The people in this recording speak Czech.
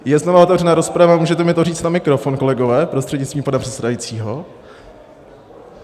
Je znovu otevřená rozprava, můžete mi to říct na mikrofon, kolegové prostřednictvím pana předsedajícího.